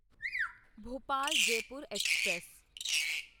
Bhopal Jaipur express